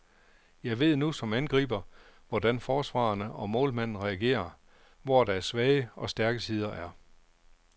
Jeg ved nu som angriber, hvordan forsvarerne og målmanden reagerer, hvor deres svage og stærke sider er.